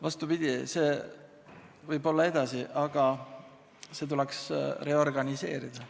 Vastupidi, see võib jääda, aga see tuleks reorganiseerida.